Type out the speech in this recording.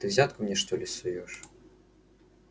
ты взятку мне что ли суёшь